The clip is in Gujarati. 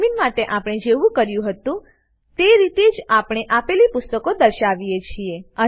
એડમીન માટે આપણે જેવું કર્યું હતું તે રીતે જ આપણે આપેલી પુસ્તકો દર્શાવીએ છીએ